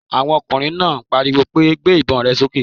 Àwọn ọkùnrin náà pariwo pé! Gbé ìbon rẹ sókè